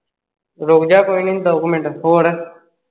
ਰੁਕ ਜਾਂ ਕੋਈ ਨੀ ਦੋ ਕੁ ਮਿੰਟ ਹੋਰ?